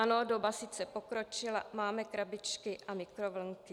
Ano, doba sice pokročila - máme krabičky a mikrovlnky.